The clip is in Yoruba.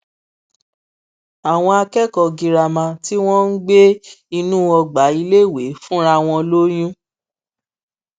àwọn akẹkọọ girama tí wọn ń gbé inú ọgbà iléèwé fúnra wọn lóyún